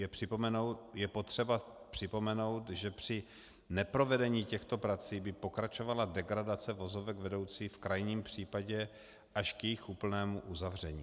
Je potřeba připomenout, že při neprovedení těchto prací by pokračovala degradace vozovek vedoucí v krajním případě až k jejich úplnému uzavření.